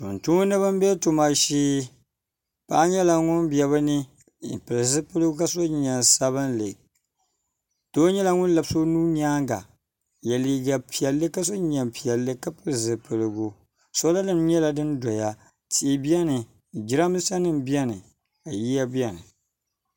tumtumdiba n bɛ tuma shee paɣa nyɛla ŋun bɛ bi ni n pili zipiligu ka so jinjɛm sabinli doo nyɛla ŋun labisi o nuu nyaanga n yɛ liiga piɛlli ka so jinjɛm piɛlli ka pili zipiligu soola nim nyɛla din doya tia biɛni jiranbiisa nim biɛni ka yiya biɛni